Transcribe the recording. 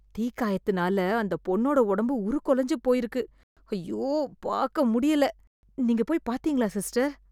தீக்காயத்துனால அந்த பொண்ணோட உடம்பு உருக்குலைஞ்சு போயிருக்கு... அய்யோ... பாக்க முடியல. நீங்க போய் பாத்தீங்களா சிஸ்டர்?